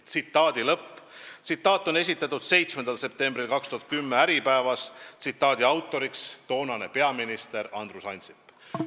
" See seisukoht on esitatud 7. septembril 2010 Äripäevas, tsitaadi autor on toonane peaminister Andrus Ansip.